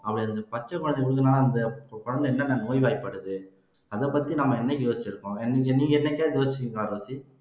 அதை அந்த பச்சை குழந்தைக்கு ஊத்துனா அந்த குழந்தை என்னென்ன நோய்வாய்ப்படுது அதை பத்தி நம்ம என்னைக்கு யோசிச்கிருக்கோம் நீங்க என்னைக்காவது யோசிச்சிருக்கீங்களா ரோஸி